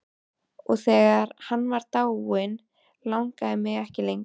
Og þegar hann var dáinn langaði mig ekki lengur.